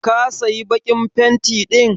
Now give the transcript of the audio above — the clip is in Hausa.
Ka saya bakin fenti din?